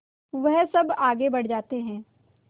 वह सब आगे बढ़ जाते हैं